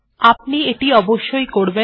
আপনি এটি অবশ্যই করবেন